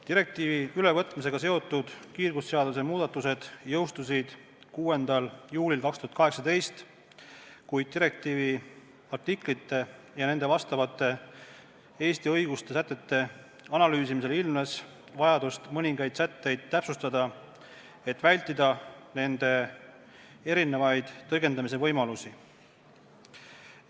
Direktiivi ülevõtmisega seotud kiirgusseaduse muudatused jõustusid 6. juulil 2018, kui direktiivi artiklite ja neile vastavate Eesti õiguse sätete analüüsimisel ilmnes vajadus mõningaid sätteid täpsustada, et vältida nende erineva tõlgendamise võimalusi.